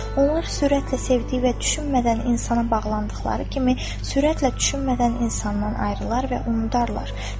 Onlar sürətlə sevdiyi və düşünmədən insana bağlandıqları kimi, sürətlə düşünmədən insandan ayrılar və unudarlar.